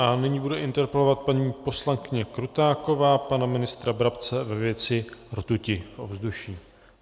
A nyní bude interpelovat paní poslankyně Krutáková pana ministra Brabce ve věci rtuti v ovzduší.